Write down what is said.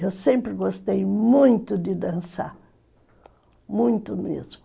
Eu sempre gostei muito de dançar, muito mesmo.